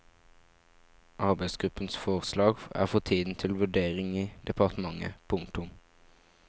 Arbeidsgruppens forslag er for tiden til vurdering i departementet. punktum